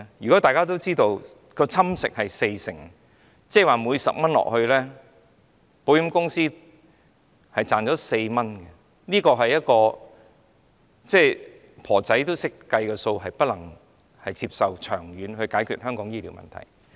如果大家都知道蠶食的部分是四成，即每加入10元，保險公司便賺取4元，即使一位婆婆亦懂得計算，這並不能作為長遠解決香港醫療問題的方法。